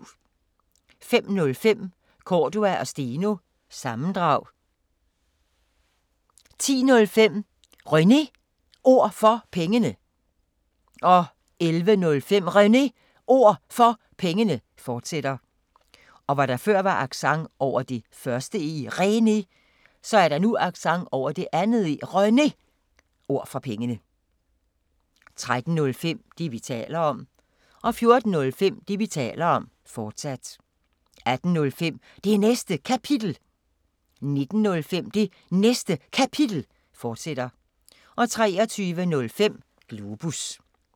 05:05: Cordua & Steno – sammendrag 10:05: René Ord For Pengene 11:05: René Ord For Pengene, fortsat 13:05: Det, vi taler om 14:05: Det, vi taler om, fortsat 18:05: Det Næste Kapitel 19:05: Det Næste Kapitel, fortsat 23:05: Globus